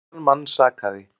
Engan mann sakaði.